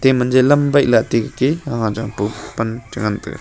ema jelam bailah atte gaki ah jahbo pan chengan taiga.